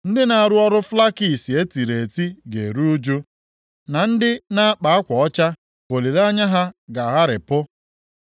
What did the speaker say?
Ndị nʼarụ ọrụ flakisi etiri eti ga-eru ụjụ, na ndị na-akpa akwa ọcha ka olileanya ha ga-agharịpụ.